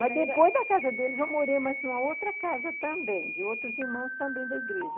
Mas depois da casa deles eu morei em mais uma outra casa também, de outros irmãos também da igreja.